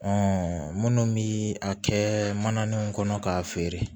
minnu bi a kɛ mananiw kɔnɔ k'a feere